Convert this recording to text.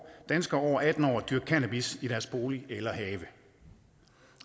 danskere over atten år at dyrke cannabis i deres bolig eller have